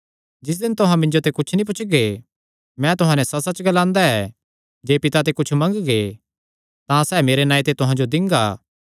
तिस दिन तुहां मिन्जो ते कुच्छ नीं पुछगे मैं तुहां नैं सच्चसच्च ग्लांदा ऐ जे पिता ते कुच्छ मंगगे तां सैह़ मेरे नांऐ ते तुहां जो दिंगा